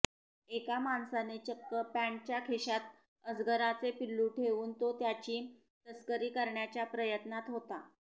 एका माणसाने चक्क पँटच्या खिशात अजगराचे पिल्लू ठेवून तो त्याची तस्करी करण्याच्या प्रयत्नात होता